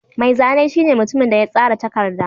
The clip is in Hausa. Mai zane shine mutumin da ya tsara takarda.